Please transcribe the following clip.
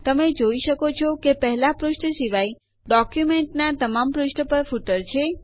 તમે જોઈ શકો છો કે પહેલા પુષ્ઠ સિવાય ડોક્યુંમેન્ટના તમામ પુષ્ઠો પર ફૂટર છે